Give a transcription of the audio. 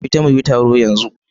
Fita mu yi taro yanzu!